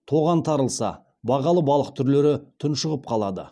тоған тарылса бағалы балық түрлері тұншығып қалады